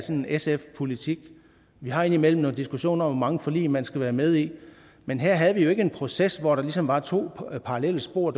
sf politik vi har indimellem nogle diskussioner om hvor mange forlig man skal være med i men her havde vi jo ikke en proces hvor der ligesom var to parallelle spor